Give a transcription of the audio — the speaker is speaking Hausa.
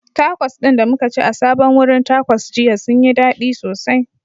Takos ɗin da muka ci a sabon wurin Takos jiya sun yi dadi sosai